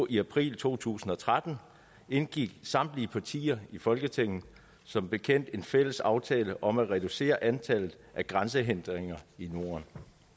i april to tusind og tretten indgik samtlige partier i folketinget som bekendt en fælles aftale om at reducere antallet af grænsehindringer i norden